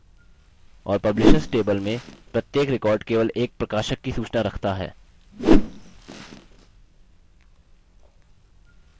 और publishers table में प्रत्येक record केवल एक प्रकाशक की सूचना रखता है